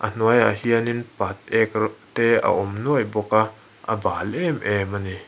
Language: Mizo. hnuaiah hianin patek a awm nuai bawk a bal em em a ni.